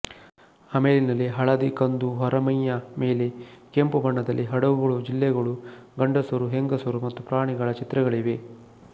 ಆಮೇಲಿನಲ್ಲಿ ಹಳದಿ ಕಂದು ಹೊರಮೈಯ ಮೇಲೆ ಕೆಂಪು ಬಣ್ಣದಲ್ಲಿ ಹಡಗುಗಳು ಜಲ್ಲೆಗಳು ಗಂಡಸರು ಹೆಂಗಸರು ಮತ್ತು ಪ್ರಾಣಿಗಳ ಚಿತ್ರಗಳಿವೆ